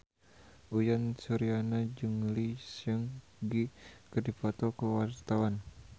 Uyan Suryana jeung Lee Seung Gi keur dipoto ku wartawan